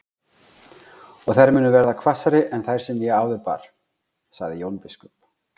Og þær munu verða hvassari en þær sem ég áður bar, sagði Jón biskup.